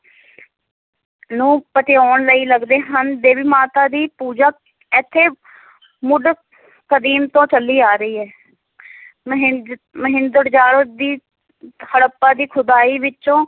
ਨੂੰ ਪਤਿਆਣ ਲਈ ਲਗਦੇ ਹਨ, ਦੇਵੀ ਮਾਤਾ ਦੀ ਪੂਜਾ ਇੱਥੇ ਮੁੱਢ ਕਦੀਮ ਤੋਂ ਚੱਲੀ ਆ ਰਹੀ ਹੈ ਮਹਿੰਜ~ ਮਹਿੰਜੋਦੜੋ ਦੀ ਹੜੱਪਾ ਦੀ ਖੋਦਾਈ ਵਿੱਚੋਂ